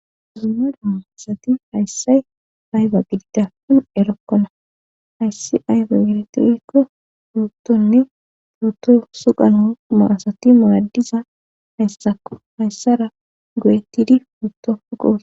Dumma dumma asati hayssa ayba gididapin erokkona hayssi ayfe geretekko umuttonne mutto suqano maasati muradiza hayssakko hayssara goyettidi putto goos